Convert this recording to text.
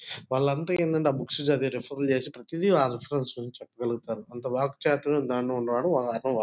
వాళ్లంతా ఏంటంటే ఆ బుక్స్ చదివి రెఫెర్ చేసి ప్రతిదీ వాలు ఆ రిఫరెన్స్ నుంచి చెప్పగలుగుతారు అంత వాక్చాతుర్యం దానిలో ఉండడం వాళ్లు --